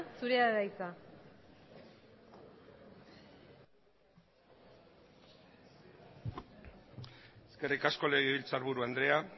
zurea da hitza eskerrik asko legebiltzarburu andrea